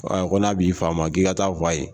Ko n'a b'i fa ma k'i ka taa fɔ a ye